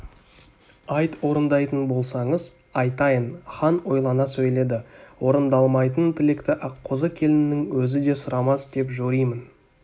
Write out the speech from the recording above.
айт орындайтын болсаңыз айтайын хан ойлана сөйледі орындалмайтын тілекті аққозы келіннің өзі де сұрамас деп жоримын